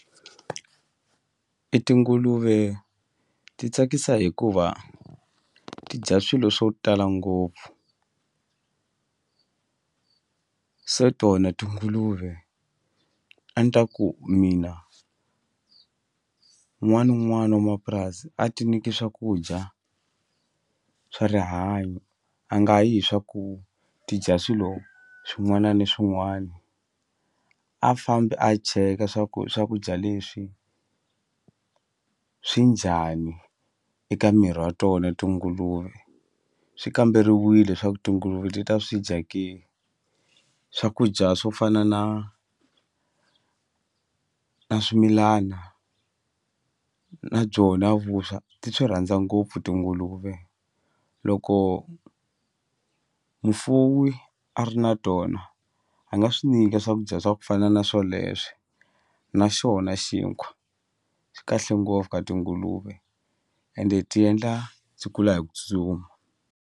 E tinguluve ti tsakisa hikuva ti dya swilo swo tala ngopfu se tona tinguluve a ni ta ku mina n'wana na un'wana wa mapurasi a ti nyiki swakudya swa rihanyo a nga yi hi swa ku ti dya swilo swin'wana ni swin'wana a fambi a cheka swa ku swakudya leswi swi njhani eka miri wa tona tinguluve swi kamberiwile swa ku tinguluve ti ta swi dya ke swakudya swo fana na na swimilana na byona vuswa ti swi rhandza ngopfu tinguluve loko mufuwi a ri na tona a nga swi nyika swakudya swa ku fana na swoleswe naxona xinkwa swi kahle ngopfu ka tinguluve ende ti endla byi kula hi ku tsutsuma.